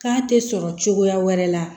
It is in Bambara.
K'a tɛ sɔrɔ cogoya wɛrɛ la